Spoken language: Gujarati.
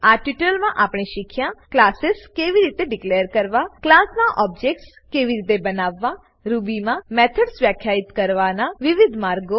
આ ટ્યુટોરીયલમાં આપણે શીખ્યા ક્લાસીસ કેવી રીતે ડીકલેર કરવા ક્લાસ નાં ઓબ્જેક્ટ્સ કેવી રીતે બનાવવા રૂબીમાં મેથડ્સ વ્યાખ્યિત કરવાનાં વિવિધ માર્ગો